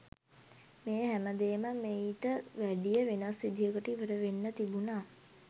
මේ හැම දේම මෙයිට වැඩිය වෙනස් විදියකට ඉවර වෙන්න තිබුණා.